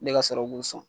Ne ka sɔrɔ k'u sɔn